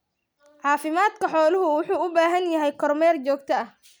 Caafimaadka xooluhu wuxuu u baahan yahay kormeer joogto ah.